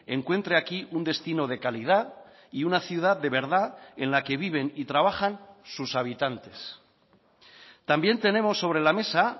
encuentre aquí un destino de calidad y una ciudad de verdad en la que viven y trabajan sus habitantes también tenemos sobre la mesa